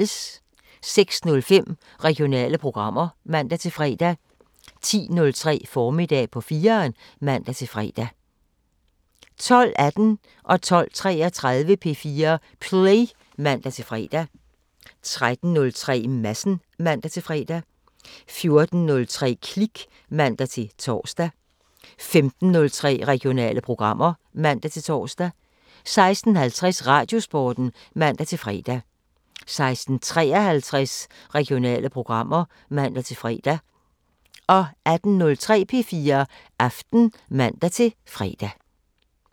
06:05: Regionale programmer (man-fre) 10:03: Formiddag på 4'eren (man-fre) 12:18: P4 Play (man-fre) 12:33: P4 Play (man-fre) 13:03: Madsen (man-fre) 14:03: Klik (man-tor) 15:03: Regionale programmer (man-tor) 16:50: Radiosporten (man-fre) 16:53: Regionale programmer (man-fre) 18:03: P4 Aften (man-fre)